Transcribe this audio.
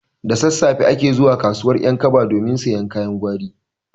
Da sassafe ake zuwa kasuwar ƴankaba domin siyan kayan gwari